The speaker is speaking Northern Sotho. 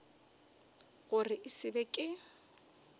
gore e se be ke